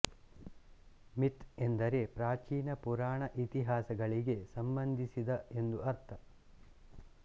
myth ಎಂದರೆ ಪ್ರಾಚೀನ ಪುರಾಣ ಇತಿಹಾಸಗಳಿಗೆ ಸಂಬಂಧಿಸಿದ ಎಂದು ಅರ್ಥ